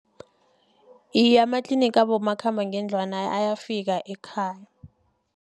Iye, amatliniga abomakhambangendlwana ayafika ekhaya.